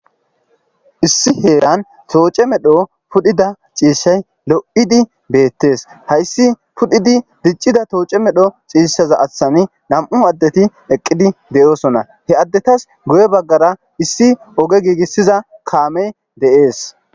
Issi heeran tooce medho pudhida ciishshay lo7idi beettes hayssi pudhidi diccida tooce medho ciishshaza aththani nam7u addeti eqqidi deyoosona he addetas guye baggara issi oge giigissiza kaamey de,ees.